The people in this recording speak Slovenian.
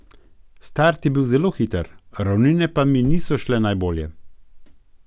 Start je bil zelo hiter, ravnine pa mi niso šle najbolje.